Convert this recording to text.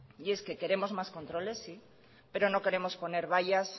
y es que queremos más controles pero no queremos poner vallas